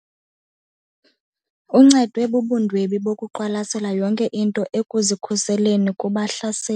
Uncedwe bubundwebi bokuqwalasela yonke into ekuzikhuseleni kubahlaseli.